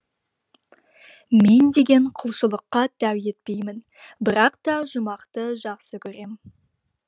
мен деген құлшылыққа тәу етпеймін бірақ та жұмақты жақсы көрем